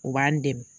U b'an dɛmɛ